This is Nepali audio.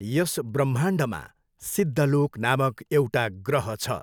यस ब्रह्माण्डमा सिद्धलोक नामक एउटा ग्रह छ।